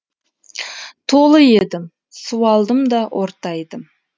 толы едім суалдым да ортайдым